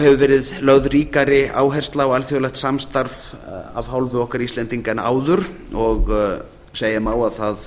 hefur verið lögð ríkari áhersla á alþjóðlegt samstarf af hálfu okkar íslendinga en áður og segja má að það